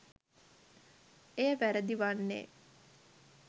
එය වැරදි වන්නේ